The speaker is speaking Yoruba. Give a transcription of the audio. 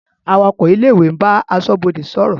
Awakọ̀ ilé-ìwé ń bá aṣọ́bodè sọ̀rọ̀.